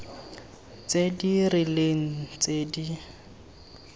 tse di rileng tse di